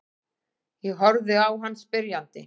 Ég horfi á hann spyrjandi.